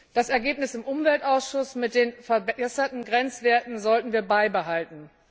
Das Ergebnis im Umweltausschuss mit den verbesserten Grenzwerten sollten wir beibehalten.